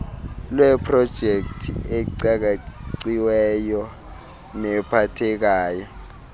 lweeprojekthi ecakaciweyo nephathekayo